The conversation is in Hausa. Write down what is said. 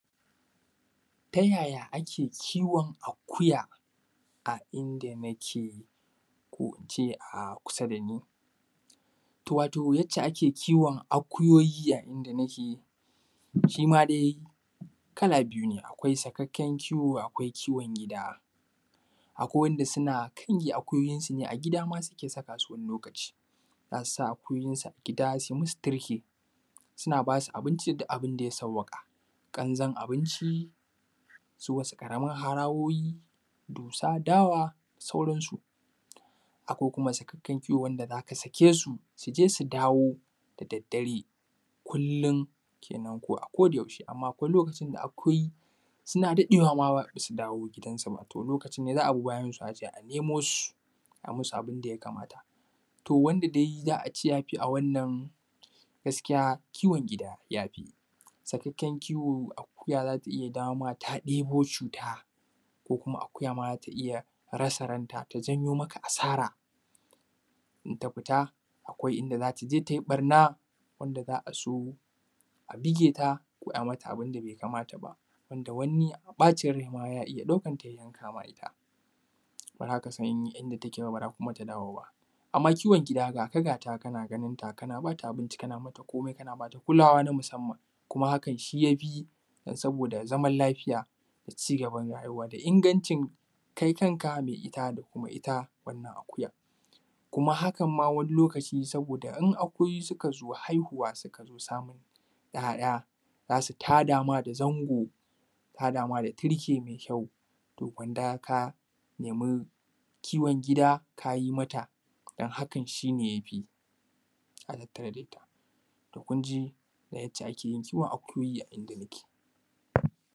Ta yaya ake kiwon akuya a inda nike? Ko ince a kusa dani? To wato yace ake kiwon akuyoyi a inda nake shima dai kala biyu ne akwai sakakken kiwo akwai kiwon gida, akwai wanda suna kange akuyoyinsu ne a gida ma suke saka su wani lokaci, za su sa akuyoyinsu a gida su yi musu turke, suna basu abinci da abinda ya sawaƙa, kanzon abinci, su wasu karamin harawoyi, dusa, dawa, da sauransu. Akwai kuma sakakken kiwo wanda zaka sake su, su je su dawo da dare kullum kenen ko a koda yaushe, amma akwai lokacin da akuyoyi suna daɗewama basu dawo gidansu ba, to lokacin ne za a bi bayansu aje a nemo su, ai musu abin da ya kamata. To wanda dai za a ce yafi a wannan gaskiya kiwon gida yafi, sakakken kiwo akuya zata iya dawoma ta debo cuta, ko kuma akuya iya rasa ranta, ta janyo maka asara, in ta fita akwai inda zata je tayi ɓarna, wanda za a zo a bige ta ko ai mata abunda bai kamata ba, wanda wani bacin rai ma ya iya ɗaukatan ya yanka ma ita, bazaka san inta take ba, baza kuma ta dawo ba, amma kiwon gida gaka gata, kana ganinta kana bata abinci kana mata kome, kana bata kulawa ta musamman, kuma hakan shi yafi, saboda zaman lafiya da ci gaban rayuwa da ingancin kai kanka mai ita, da kuma ita wannan akuyan. Kuma hakan ma wani lokaci in akuyoyi su ka zo haihuwa, suka zo samun ‘ya’ya za su tadama da zango, za su tadama da turke mai kyau, to gwanda ka nemi kiwon gida kayi mata, don hakan shi ne yafi. To kun ji yace ake yin kiwon akuyoyi a inda nike.